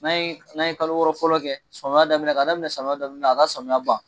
N'a ye n'a ye kalo wɔɔrɔ fɔlɔ kɛ samiya daminɛ k'a daminɛ samiya daminɛ a ka samiya ban